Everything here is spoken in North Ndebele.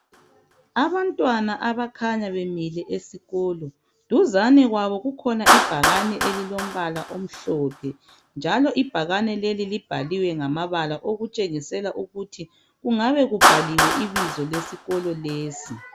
Abantwana abakhanya bemile esikolo duzani kwabo kukhona ibhakani elilompala omhlophe njalo ibhakani leli libhaliwe ngamabala okutshengisela ukuthi kungabe kubhaliwe ibizo lesikolo lesi.